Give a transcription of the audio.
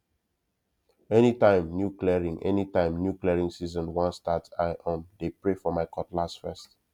anytime new clearing anytime new clearing season wan start i um dey pray for my cutlass first